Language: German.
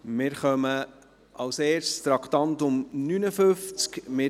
Wir kommen zuerst zum Traktandum 59.